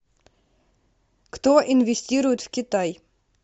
кто инвестирует в китай